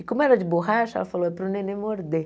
E como era de borracha, ela falou é para o neném morder.